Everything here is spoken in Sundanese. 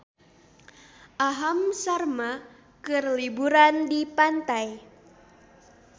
Aham Sharma keur liburan di pantai